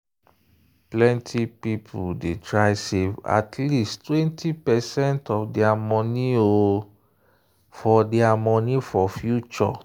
plenty people dey try save at least 20 percent of their money for their money for future.